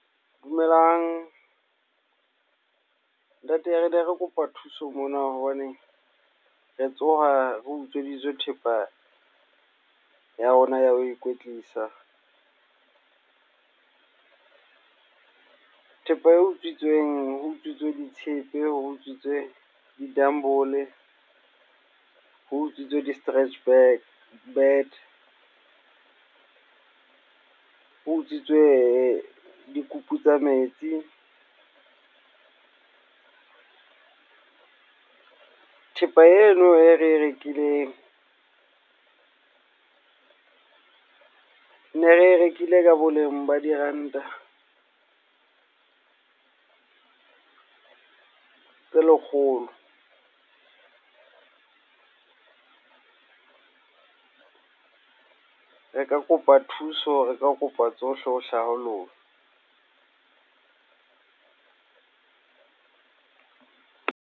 Dumelang, ntate ne re kopa thuso mona hobane re tsoha re utsweditswe thepa ya rona ya ho ikwetlisa, thepa e utswitsweng, ho utswitswe ditshepe, ho utswitswe di-dumb-ole, ho utswitswe di-stretch mat, ho utswitswe dikupu tsa metsi. Thepa eno e re rekileng, ne re rekile ka boleng ba diranta tse lekgolo, re ka kopa thuso. Re ka kopa tsohle ho hlaha lona.